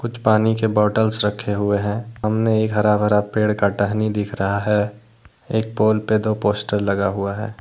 पानी के बोतल्स से रखे हुए हैं सामने एक हरा भरा पेड़ का टहनी दिख रहा है एक पोल पे दो पोस्टर लगा हुआ है।